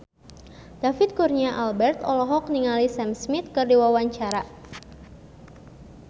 David Kurnia Albert olohok ningali Sam Smith keur diwawancara